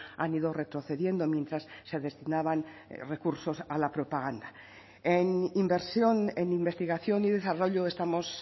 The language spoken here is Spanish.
han ido retrocediendo mientras se destinaban recursos a la propaganda en inversión en investigación y desarrollo estamos